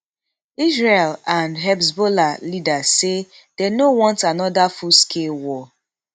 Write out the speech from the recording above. israeli and hezbollah leaders say dey no want anoda fullscale war